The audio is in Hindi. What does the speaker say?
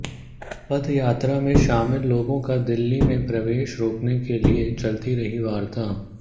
पद यात्रा में शामिल लोगों का दिल्ली में प्रवेश रोकने के लिए चलती रही वार्ता